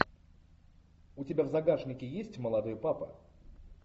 у тебя в загашнике есть молодой папа